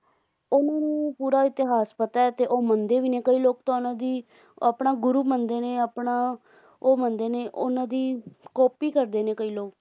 ਉਨ੍ਹਾਂ ਨੂੰ ਪੂਰਾ ਇਤਿਹਾਸ ਪਤਾ ਤੇ ਉਹ ਮੰਨਦੇ ਵੀ ਨੇ ਤੇ ਕਈ ਲੋਕ ਤਾਂ ਉਨ੍ਹਾਂ ਦੀ ਆਪਣਾ ਗੁਰੂ ਮੰਨਦੇ ਨੇ ਓਹਨਾ ਦਾ ਉਹ ਮੰਨਦੇ ਨੇ ਉਹਨਾਂ ਦੀ ਕਾਪੀ ਕਰੋ ਕਰਦੇ ਨੇ ਕਈ ਲੋਕ